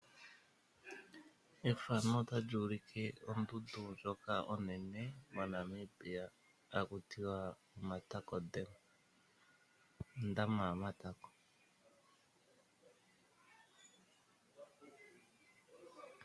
ondundu ndjoka onene moNamibia hayi ithanwa omatakote ndjoka haku hakutiwa ondama ya matako.